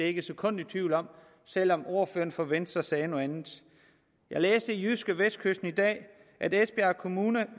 ikke et sekund i tvivl om selv om ordføreren fra venstre sagde noget andet jeg læste i jydskevestkysten i dag at esbjerg kommune